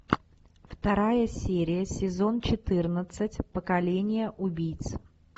вторая серия сезон четырнадцать поколение убийц